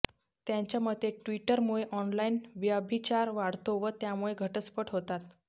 त्याच्या मते ट्विटरमुळे ऑनलाइन व्यभिचार वाढतो व त्यामुळे घटस्फोट होतात